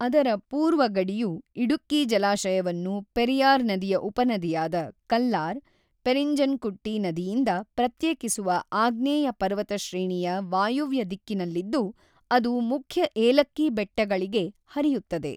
ಅದರ ಪೂರ್ವ ಗಡಿಯು ಇಡುಕ್ಕಿ ಜಲಾಶಯವನ್ನು ಪೆರಿಯಾರ್ ನದಿಯ ಉಪನದಿಯಾದ ಕಲ್ಲಾರ್/ಪೆರಿನ್ಜನ್ಕುಟ್ಟಿ ನದಿಯಿಂದ ಪ್ರತ್ಯೇಕಿಸುವ ಆಗ್ನೇಯ ಪರ್ವತಶ್ರೇಣಿಯ ವಾಯುವ್ಯ ದಿಕ್ಕಿನಲ್ಲಿದ್ದು ಅದು ಮುಖ್ಯ ಏಲಕ್ಕಿ ಬೆಟ್ಟಗಳಿಗೆ ಹರಿಯುತ್ತದೆ.